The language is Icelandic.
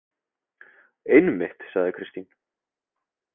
Einmitt, sagði Kristín.